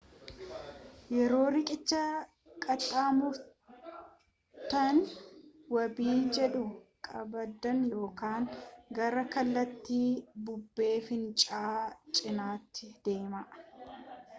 yoo riqicha qaxxaamurtan wabii jiidhuu qabdan yookaan gara kallattii bubbee fincaa'aa cinaatti deemaa